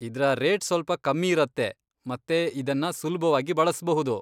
ಇದ್ರ ರೇಟ್ ಸ್ವಲ್ಪ ಕಮ್ಮಿ ಇರತ್ತೆ ಮತ್ತೆ ಇದನ್ನ ಸುಲ್ಭವಾಗಿ ಬಳಸ್ಬಹುದು.